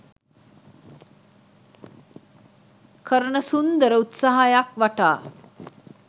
කරන සුන්දර උත්සාහයක් වටා